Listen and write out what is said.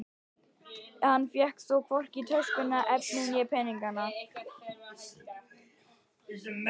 Hann fékk þó hvorki töskuna, efnið né peninga.